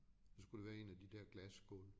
Så skulle det være en af de der glasskåle